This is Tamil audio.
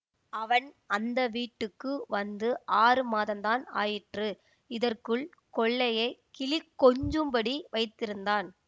அவன் அந்த வீட்டுக்கு வந்து ஆறு மாதந்தான் ஆயிற்று இதற்குள் கொல்லையைக் கிளிகொஞ்சும்படி வைத்திருந்தான்